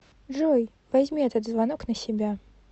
джой возьми этот звонок на себя